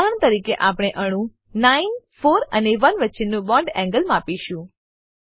ઉદાહરણ તરીકે આપણે અણુ 9 4 અને 1 વચ્ચેનું બોન્ડ એન્ગલ માપીશું